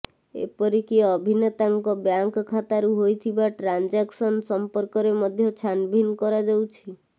ଏପରିକି ଅଭିନେତାଙ୍କ ବ୍ୟାଙ୍କ ଖାତାରୁ ହୋଇଥିବା ଟ୍ରାନଞ୍ଜାକ୍ସନ ସମ୍ପର୍କରେ ମଧ୍ୟ ଛାନଭିନ୍ନ କରାଯାଉଛି